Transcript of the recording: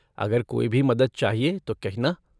अगर कोई भी मदद चाहिए तो कहना।